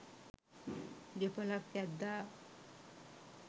ගෙපලක් ඇද්දා